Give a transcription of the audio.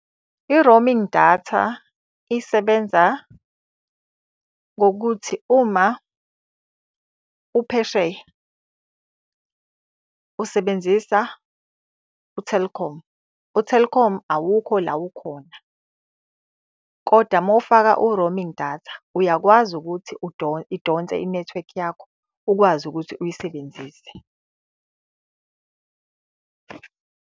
I-roaming data, isebenza ngokuthi uma uphesheya usebenzisa u-Telkom, u-Telkom awukho la ukhona, kodwa uma ufaka u-roaming data uyakwazi ukuthi idonse inethiwekhi yakho ukwazi ukuthi uyisebenzise.